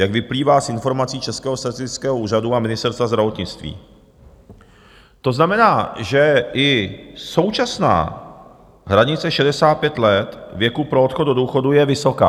Jak vyplývá z informací Českého statistického úřadu a Ministerstva zdravotnictví, to znamená, že i současná hranice 65 let věku pro odchod do důchodu je vysoká.